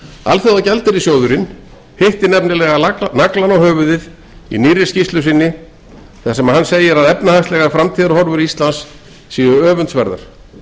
alþjóðagjaldeyrissjóðurinn hitti nefnilega naglann á höfuðið í nýrri skýrslu sinni þar sem hann segir að efnahagslegar framtíðarhorfur íslands séu öfundsverðar